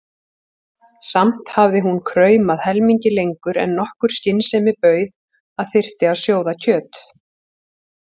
Samt hafði hún kraumað helmingi lengur en nokkur skynsemi bauð að þyrfti að sjóða kjöt.